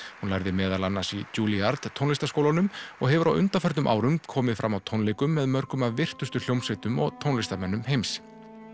hún lærði meðal annars í tónlistarskólanum og hefur á undanförnum árum komið fram á tónleikum með mörgum af virtustu hljómsveitum og tónlistarmönnum heims